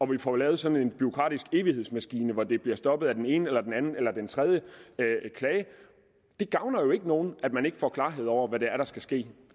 vi får lavet sådan en bureaukratisk evighedsmaskine hvor det bliver stoppet af den ene eller den anden eller den tredje klage det gavner jo ikke nogen at man ikke få klarhed over hvad det er der skal ske